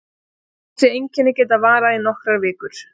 Þessi einkenni geta varað í nokkrar vikur.